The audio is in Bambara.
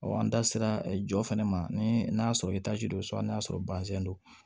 an da sera jɔ fana ma ni n'a sɔrɔ don so hali n'a sɔrɔ don